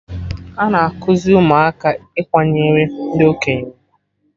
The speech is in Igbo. Ana ekuzi ụmụaka Ikwanyere ndị okenye ugwu